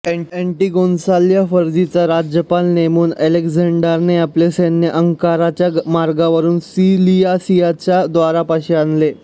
ऍंटिगोनसला फर्जियाचा राज्यपाल नेमून अलेक्झांडरने आपले सैन्य अंकाराच्या मार्गावरून सिलिसियाच्या द्वारापाशी आणले